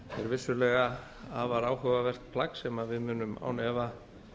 vissulega afar áhugavert plagg sem við munum án efa